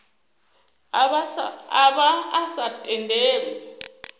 a vha a sa tendelwi